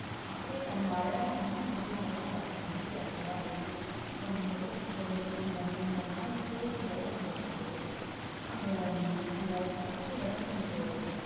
அப்படியே தன்னை அழகா அம்மன் மாதிரியே அலங்காரங்கள் பண்ணிட்டு நகை அணிந்து ஒரு முதல் ஒரு மு~ அந்த அந்த நாள் முழுவதும் விரதம் இருந்து அந்த அந்த சக்தி விரதம் என்ற ஒரு